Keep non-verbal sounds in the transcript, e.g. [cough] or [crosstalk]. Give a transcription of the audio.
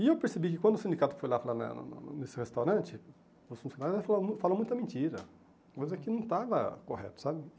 E eu percebi que quando o sindicato foi lá falar [unintelligible] nesse restaurante, o funcionário [unintelligible] falou muita mentira, coisa que não estava correta, sabe?